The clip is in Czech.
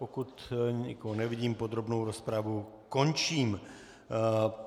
Pokud nikoho nevidím, podrobnou rozpravu končím.